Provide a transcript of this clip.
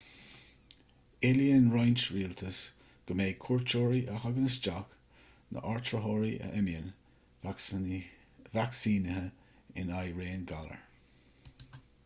éilíonn roinnt rialtas go mbeidh cuairteoirí a thagann isteach nó áitritheoirí a imíonn vacsaínithe in aghaidh raon galar